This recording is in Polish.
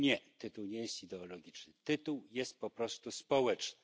Otóż nie tytuł nie jest ideologiczny, tytuł jest po prostu społeczny.